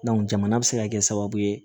jamana bɛ se ka kɛ sababu ye